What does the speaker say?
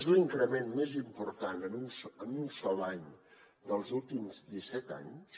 és l’increment més important en un sol any dels últims disset anys